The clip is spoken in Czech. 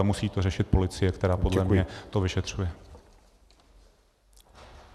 A musí to řešit policie, která podle mne to vyšetřuje.